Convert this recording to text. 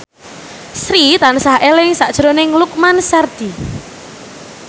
Sri tansah eling sakjroning Lukman Sardi